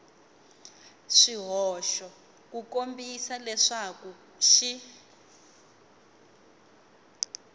swihoxo ku kombisa leswaku xi